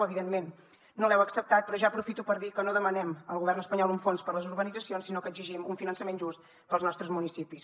evidentment no l’heu acceptat però ja aprofito per dir que no demanem al govern espanyol un fons per a les urbanitzacions sinó que exigim un finançament just per als nostres municipis